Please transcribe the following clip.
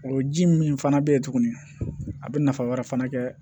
O ji min fana bɛ yen tuguni a bɛ nafa wɛrɛ fana kɛ